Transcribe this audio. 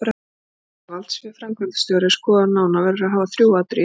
Þegar valdsvið framkvæmdastjóra er skoðað nánar verður að hafa þrjú atriði í huga